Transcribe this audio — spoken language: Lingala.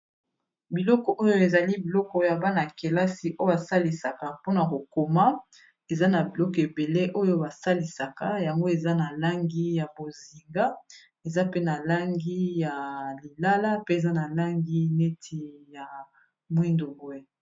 Biloko oyo ezali biloko ya bana-kelasi oyo basalisaka mpona kokoma eza na biloko ebele oyo basalisaka yango eza na langi ya bozinga, eza pe na langi ya lilala pe eza na langi neti ya mwindo boye.